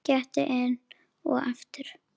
Gettu enn og aftur.